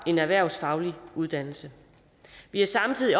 en erhvervsfaglig uddannelse vi er samtidig